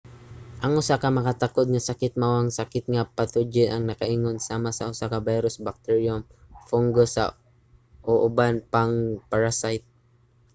ang usa ka makatakod nga sakit mao ang sakit nga pathogen ang nakaingon sama sa usa ka virus bacterium fungus o uban pang parasite